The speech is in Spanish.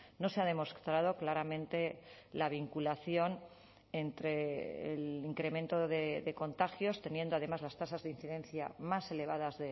no se ha demostrado claramente la vinculación entre el incremento de contagios teniendo además las tasas de incidencia más elevadas